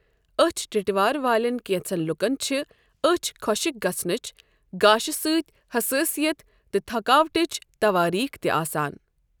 أچھ ٹِٹوار والیٚن کیٚنٛژن لُکن چھےٚ أچھ خۄشٕکۍ گَژھنٕچ ، گاشہٕ سۭتۍ حسٲسِیت تہٕ تھکاوٹٕچ توٲریٖخ تہِ آسان۔